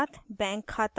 credit card